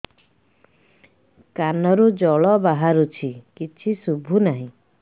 କାନରୁ ଜଳ ବାହାରୁଛି କିଛି ଶୁଭୁ ନାହିଁ